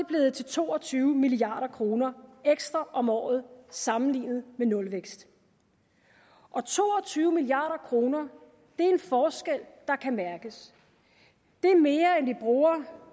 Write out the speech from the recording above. blevet til to og tyve milliard kroner ekstra om året sammenlignet med nulvækst og to og tyve milliarder kroner er en forskel der kan mærkes det er mere end vi bruger